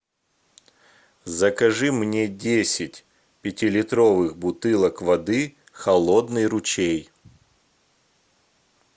закажи мне десять пятилитровых бутылок воды холодный ручей